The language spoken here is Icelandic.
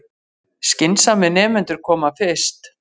Skynsamir nemendur koma fyrst